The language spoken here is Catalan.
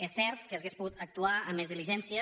és cert que s’hauria pogut actuar amb més diligència